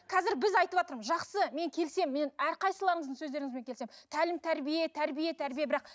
қазір біз айтыватырмыз жақсы мен келісемін мен әрқайсыларыңыздың сөздеріңізбен келісемін тәлім тәрбие тәрбие тәрбие бірақ